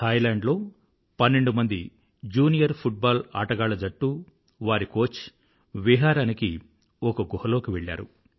Thailand లో పన్నెండుమంది junior football ఆటగాళ్ళ జట్టు వారి కోచ్ విహారానికి ఒక గుహ లోకి వెళ్ళారు